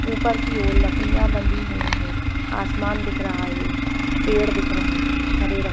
ऊपर की ओर लकड़िया बंधी हुई है आसमान दिख रहा है पेड़ दिख रहे हैं हरे रंग के|